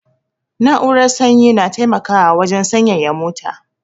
Na'urar sanyi na taimakawa wajan sanyaya mota